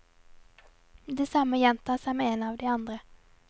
Det samme gjentar seg med en av de andre.